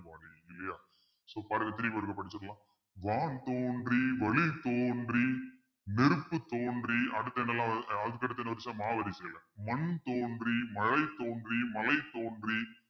இல்லையா so பாருங்க படிச்சிடலாம் வான்தோன்றி வழித்தோன்றி நெருப்பு தோன்றி அடுத்து என்னலாம் வருது அடுத்த என்ன வரிசை மாவரிசையில மண் தோன்றி மழை தோன்றி மலை தோன்றி